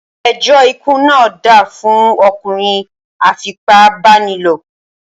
Ẹjọ́ ikú ná dá fún ọkùnrin a fipá bá ni lò.